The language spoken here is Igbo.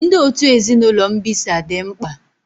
Ndị otu ezinụlọ mbisa dị mkpa.